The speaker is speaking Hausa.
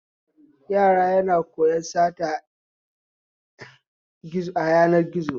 Yara na koyan sata ta yanar gizo